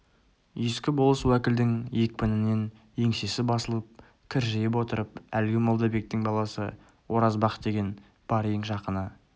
ескі болыс уәкілдің екпінінен еңсесі басылып кіржиіп отырып әлгі молдабектің баласы оразбақ деген бар ең жақыны